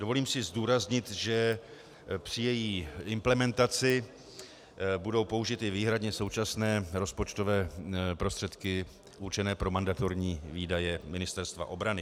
Dovolím si zdůraznit, že při její implementaci budou použity výhradně současné rozpočtové prostředky určené pro mandatorní výdaje Ministerstva obrany.